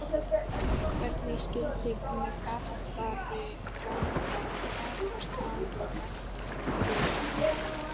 Hvernig skyldi Garðari ganga að takast á við gagnrýnina?